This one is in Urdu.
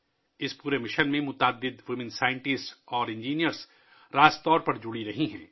اس پورے مشن میں بہت سی خواتین سائنسدان اور انجینئرز براہ راست شامل رہی ہیں